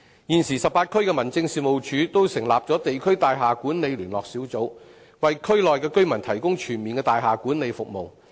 現時18區的民政事務處均成立了地區大廈管理聯絡小組，為區內居民提供全面的大廈管理服務。